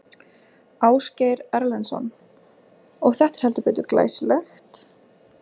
Ásgeir Erlendsson: Og þetta er heldur betur glæsilegt?